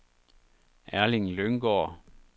Erling Lynggaard